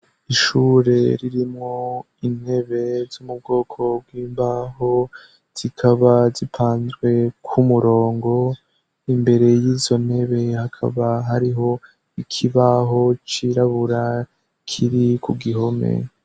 Ishure ririmwo intebe zo mubwoko bw'imbaho zikaba zipanzwe k'umurongo imbere y'izo ntebe hakaba hariho ikibaho cirabura kiri ku gihome.